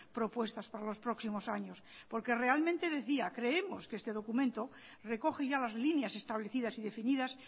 propuestas para los próximos años porque realmente decía creemos que este documento recoge ya las líneas establecidas y definidas